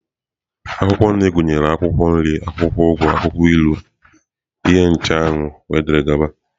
Akwụkwọ nri gụnyere akwụkwọ nri, akwụkwọ ugu, akwụkwọ ilu, ihe ncheanwụ wdg.